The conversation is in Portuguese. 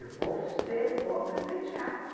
Eu vou ser vou aprender teatro.